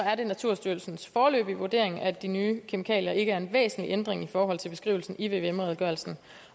er det naturstyrelsens foreløbige vurdering at de nye kemikalier ikke udgør en væsentlig ændring i forhold til beskrivelsen i vvm redegørelsen